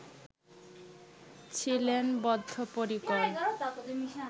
ছিলেন বদ্ধপরিকর